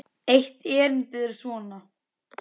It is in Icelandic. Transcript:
Eitt erindið er svona